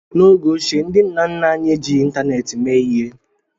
N'oge ochie, ndị nna nna anyị ejighị ịntanetị mee ihe